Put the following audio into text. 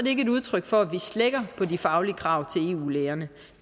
ikke et udtryk for at vi slækker på de faglige krav til eu lægerne